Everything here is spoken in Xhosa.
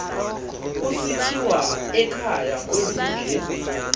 kusithiwa ekhaya kwezinje